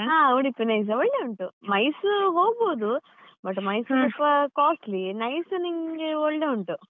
ಹಾ ಉಡುಪಿ NICE ಒಳ್ಳೆ ಉಂಟು MICE ಹೋಗ್ಬೋದು but MICE ಸ್ವಲ್ಪ costly NICE ನಿಂಗೆ ಒಳ್ಳೆ ಉಂಟು.